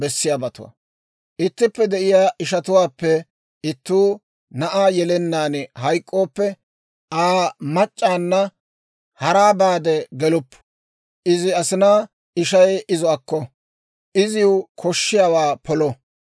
«Ittippe de'iyaa ishatuwaappe ittuu na'aa yelennaan hayk'k'ooppe, Aa machchatta haraa baade geluppu; izi asinaa ishay izo akko; iziw koshshiyaawaa polo.